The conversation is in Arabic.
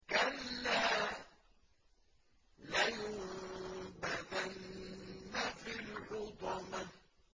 كَلَّا ۖ لَيُنبَذَنَّ فِي الْحُطَمَةِ